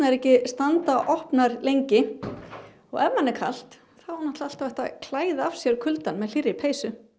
ekki standa opnar lengi og ef manni er kalt þá er náttúrulega alltaf hægt að klæða af sér kuldann með hlýrri peysu